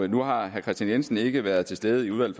nu har herre kristian jensen ikke været til stede i udvalget